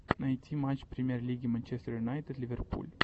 найти матч премьер лиги манчестер юнайтед ливерпуль